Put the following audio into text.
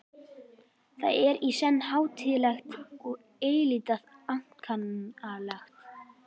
Það er í senn hátíðlegt og eilítið ankannalegt.